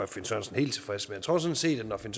finn sørensen helt tilfreds men jeg tror sådan set at når finn